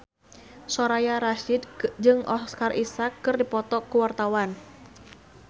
Soraya Rasyid jeung Oscar Isaac keur dipoto ku wartawan